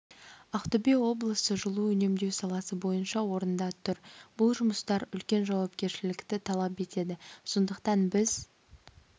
ақтөбе облысы жылу үнемдеу саласы бойынша орында тұр бұл жұмыстар үлкен жауапкершілікті талап етеді сондықтан біз